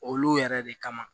Olu yɛrɛ de kama